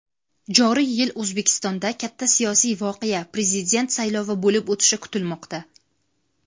joriy yil O‘zbekistonda katta siyosiy voqea — Prezident saylovi bo‘lib o‘tishi kutilmoqda.